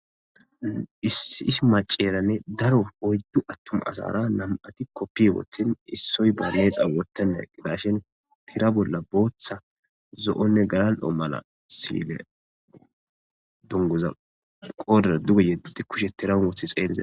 Issi is maceeranne daro oyddu attuma asara nam'ati koppi woothin issoy balee xa wotanne qidashin tira bolla booththa zo'onne galan o mala siile dungoza qoodera duge yeddi kushe tiran wothi xeelizae.